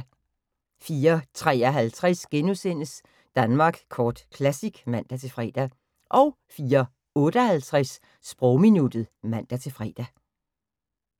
04:53: Danmark Kort Classic *(man-fre) 04:58: Sprogminuttet (man-fre)